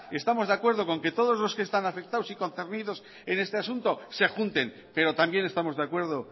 estamos de acuerdo con que todos los que están afectados y concernidos en este asunto se junten pero también estamos de acuerdo